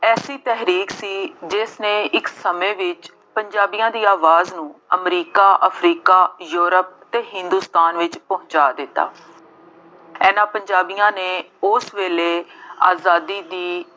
ਐਸੀ ਤਹਿਰੀਕ ਸੀ ਜਿਸਨੇ ਇੱਕ ਸਮੇਂ ਵਿੱਚ ਪੰਜਾਬੀਆਂ ਆਵਾਜ਼ ਨੂੰ ਅਮਰੀਕਾ, ਅਫਰੀਕਾ, ਯੂਰੋਪ ਅਤੇ ਹਿੰਦੁਸਤਾਨ ਵਿੱਚ ਪਹੁੰਚਾ ਦਿੱਤਾ। ਇਹਨਾ ਪੰਜਾਬੀਆਂ ਨੇ ਉਸ ਵੇਲੇ ਆਜ਼ਾਦੀ ਦੀ